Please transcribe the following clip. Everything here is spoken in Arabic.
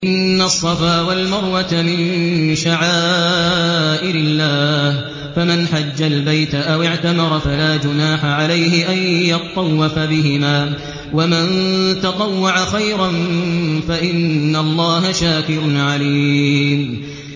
۞ إِنَّ الصَّفَا وَالْمَرْوَةَ مِن شَعَائِرِ اللَّهِ ۖ فَمَنْ حَجَّ الْبَيْتَ أَوِ اعْتَمَرَ فَلَا جُنَاحَ عَلَيْهِ أَن يَطَّوَّفَ بِهِمَا ۚ وَمَن تَطَوَّعَ خَيْرًا فَإِنَّ اللَّهَ شَاكِرٌ عَلِيمٌ